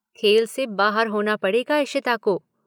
खेल से बाहर होना पड़ेगा इशिता को।